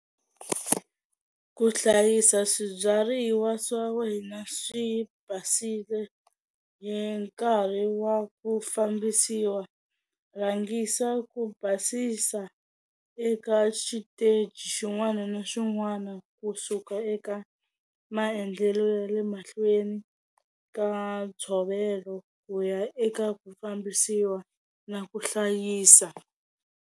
Ku hlayisa swibyariwa swa wena swi basile hi nkarhi wa ku fambisiwa rhangisa ku basisa eka xiteji xin'wana na xin'wana kusuka eka maendlelo ya le mahlweni ka ntshovelo ku ya eka ku fambisiwa na ku hlayisa.